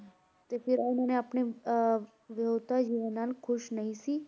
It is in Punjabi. ਤੇ ਫਿਰ ਇਹਨਾਂ ਨੇ ਆਪਣੇ ਅਹ ਵਿਆਹੁਤਾ ਜੀਵਨ ਨਾਲ ਖੁਸ਼ ਨਹੀਂ ਸੀ,